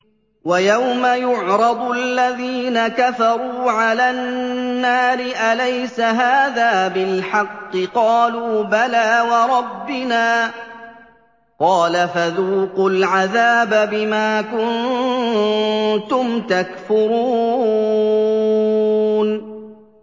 وَيَوْمَ يُعْرَضُ الَّذِينَ كَفَرُوا عَلَى النَّارِ أَلَيْسَ هَٰذَا بِالْحَقِّ ۖ قَالُوا بَلَىٰ وَرَبِّنَا ۚ قَالَ فَذُوقُوا الْعَذَابَ بِمَا كُنتُمْ تَكْفُرُونَ